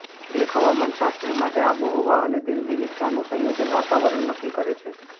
એક હવામાનશાસ્ત્રી માટે આબોહવા અને તેની વિવિધતાનું સંયોજન વાતાવરણ નક્કી કરે છે